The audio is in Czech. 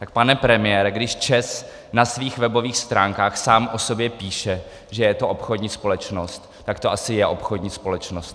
Tak pane premiére, když ČEZ na svých webových stránkách sám o sobě píše, že je to obchodní společnost, tak to asi je obchodní společnost.